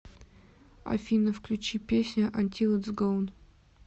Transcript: афина включи песня антил итс гоун